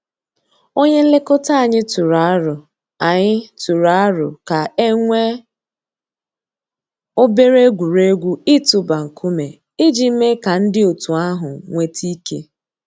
Ònyè nlèkò̩tà ànyị̀ tụrụ̀ àrò̩ ànyị̀ tụrụ̀ àrò̩ kà e nwee obere egwuregwu itụ̀bà ńkùmé̀ íjì mée kà ńdí ọ̀tù àhụ̀ nwete ike.